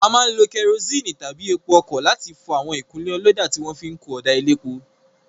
A máa ń lo kerosene tàbí epo ọkọ̀ láti fọ àwọn ìkunlé ọlọ́dà tí wọn fi kun ọ̀dà elépo.